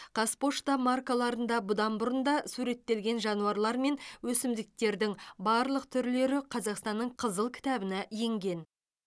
қазпошта маркаларында бұдан бұрын да суреттелген жануарлар мен өсімдіктердің барлық түрлері қазақстанның қызыл кітабына енген